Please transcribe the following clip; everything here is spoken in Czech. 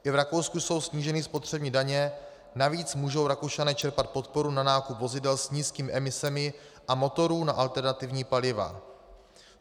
I v Rakousku jsou sníženy spotřební daně, navíc mohou Rakušané čerpat podporu na nákup vozidel s nízkými emisemi a motorů na alternativní paliva.